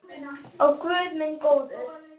Ó guð minn góður.